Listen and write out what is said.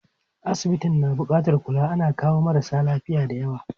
Asibitin na buƙatar kula, ana kawo marasa lafiya dayawa.